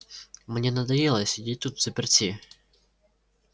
мне надоело сидеть тут взаперти